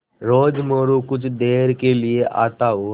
रोज़ मोरू कुछ देर के लिये आता और